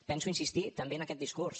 penso insistir també en aquest discurs